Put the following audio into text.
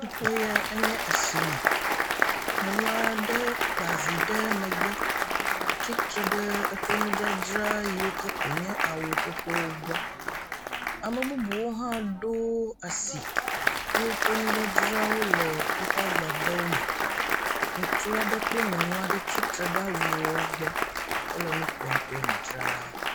Teƒe yae nye asime. Nyɔnu aɖe kpa vi ɖe megbe. Tsitre ɖe eƒe nudzadzra yiwo ke koe nye awu xoxowo gbɔ. Ame bubu hã ɖo asi ye woƒe nudzadzrawo le woƒe agbadɔwo me. Ŋutsu aɖe kple nyɔnu aɖe tsitre ɖe awuwo gbɔ hele nu ƒom kple nudzrala.